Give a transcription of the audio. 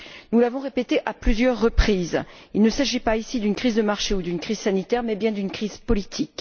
Nous l'avons répété à plusieurs reprises il ne s'agit pas d'une crise de marché ou d'une crise sanitaire mais bien d'une crise politique.